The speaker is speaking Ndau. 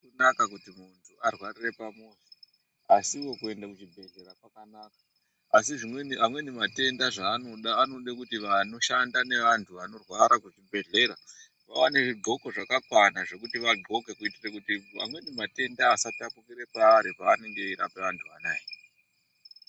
Zvakanaka Kuti muntu arwarire pamuzi, asiwo kuenda kuzvibhedhlera kwakanaka, asi amweni matenda zvanoda anoda kuti vanoshanda neantu vanorwara kuzvibhedhlera vaone zvidxoko zvakakwana zvekuti vadxoke kuitira kuti amweni matenda asatapukira paari pavanenge vachirapa vantu vanaya.